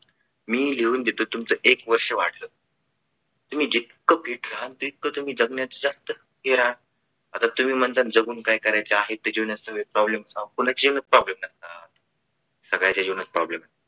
मी लिहून देतो तुमच एक वर्ष वाढलं. तुम्ही जितक feet राहालं तेवढं तुम्ही जगण्याच जास्त हे राहाल मला तुम्ही म्हणताना जगून काय करायचं आहे पुन्हा जीवनात problem होता सगळ्यांच्या जीवनात problem